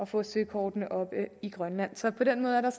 få søkortene oppe i grønland så på den måde er der